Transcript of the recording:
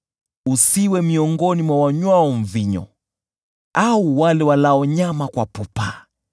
Usiwe miongoni mwa wanywao mvinyo, au wale walao nyama kwa pupa,